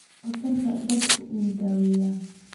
Daktarka dadku uu daaweya.